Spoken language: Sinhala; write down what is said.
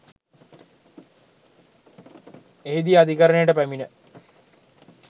එහිදී අධිකරණයට පැමිණ